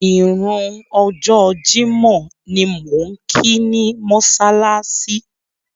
Ìrun ọjọ́ Jímọ̀ ni mò ń kí ni mọ́ṣáláṣí.